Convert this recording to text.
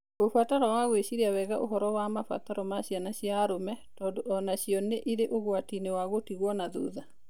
Ũbataro wa gwĩciria wega ũhoro wa mabataro ma ciana cia arũme, tondũ o nacio nĩ irĩ ũgwati-inĩ wa gũtigwo na thutha.